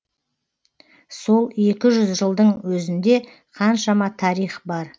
сол екі жүз жылдың өзінде қаншама тарих бар